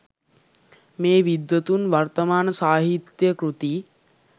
මේ විද්වතුන් වර්තමාන සාහිත්‍ය කෘති